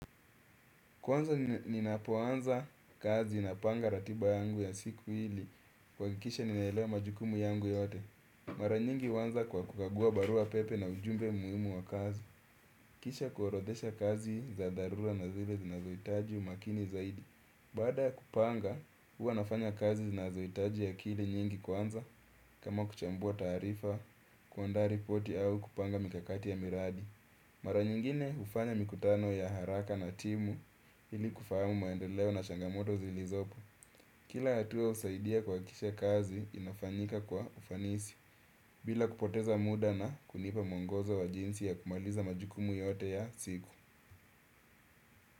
Kwanza ninapoanza kazi napanga ratiba yangu ya siku ili, kuhakikisha ninaelewa majukumu yangu yote. Mara nyingi huanza kwa kukagua barua pepe na ujumbe muhimu wa kazi. Kisha kuorodhesha kazi za dharura na zile zinazoitaji umakini zaidi. Baada ya kupanga, huwa nafanya kazi zinazoitaji akili nyingi kwanza, kama kuchambua taarifa, kuandaa ripoti au kupanga mikakati ya miradi. Mara nyingine hufanya mikutano ya haraka na timu ili kufahamu maendeleo na shangamoto zilizopo. Kila hatua husaidia kuhakikisha kazi inafanyika kwa ufanisi. Bila kupoteza muda na kunipa mwongozo wa jinsi ya kumaliza majukumu yote ya siku.